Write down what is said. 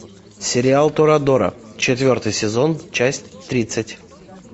сериал торадора четвертый сезон часть тридцать